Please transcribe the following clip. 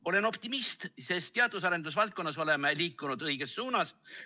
Olen optimist, sest teadus‑ ja arendusvaldkonnas oleme liikunud õiges suunas.